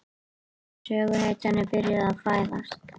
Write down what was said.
Söguhetjan er byrjuð að fæðast.